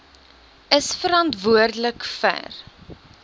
is verantwoordelik vir